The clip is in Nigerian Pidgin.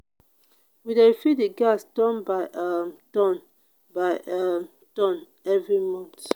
we dey refill di gas turn by um turn by um turn every month.